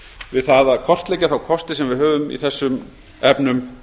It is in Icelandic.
við það að kortleggja þá kosti sem við höfum í þessum efnum